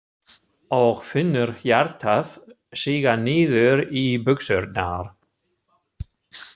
Og finnur hjartað síga niður í buxurnar.